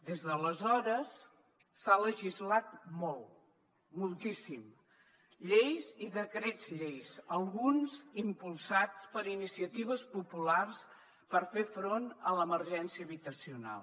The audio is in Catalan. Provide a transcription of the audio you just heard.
des d’aleshores s’ha legislat molt moltíssim lleis i decrets llei alguns impulsats per iniciatives populars per fer front a l’emergència habitacional